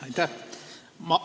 Aitäh!